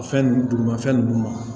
Fɛn nunnu dugumafɛn ninnu